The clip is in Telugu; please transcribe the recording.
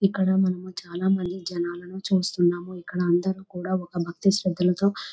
ఇక్కడ మనము చాలామంది జనాలను చూస్తున్నాము ఇక్కడ అందరూ కూడా ఒక భక్తి శ్రద్ధలతో --